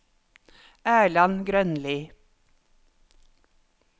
Erland Grønli